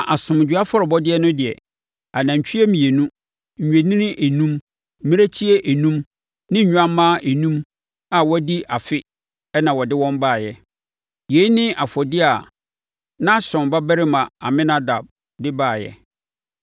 na asomdwoeɛ afɔrebɔdeɛ no deɛ, anantwie mmienu, nnwennini enum, mmirekyie enum ne nnwammaa enum a wɔadi afe na wɔde wɔn baeɛ. Yei ne afɔdeɛ a Nahson babarima Aminadab de baeɛ.